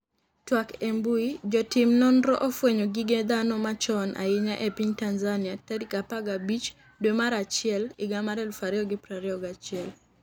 twak e mbui, Jotim nonro ofwenyo gige dhano machon ahinya e piny Tanzania tarik 15 dwe mar achiel higa mar 2021